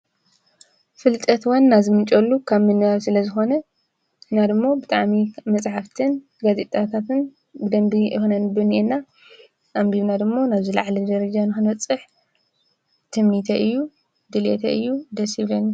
ፍልጠት ዋና ዝምንጨወሉ ካብ ምንባብ ስለ ዝኮነ ንሕና ደሞ ብጣዕሚ መፅሓፍትን ጋዜጣታትን ብደንቢ ክነንብብ ኣኒኣና፡፡ ኣንቢብና ደሞ ናብ ዝለዓለ ደረጃ ንክንበፅሕ ትምኒተይ እዩ፡፡ ድልየተይ እዩ፡፡ ደስ ይብለኒ፡፡